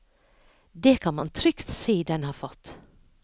Det kan man trygt si den har fått.